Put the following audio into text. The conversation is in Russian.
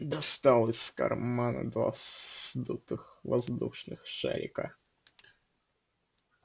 достал из кармана два сдутых воздушных шарика